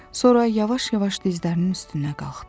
Sonra yavaş-yavaş dizlərinin üstünə qalxdı.